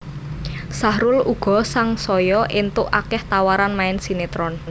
Sahrul uga sangsaya éntuk akéh tawaran main sinetron